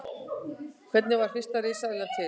Hvernig varð fyrsta risaeðlan til?